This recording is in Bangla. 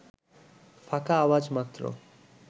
ফাঁকা আওয়াজ মাত্র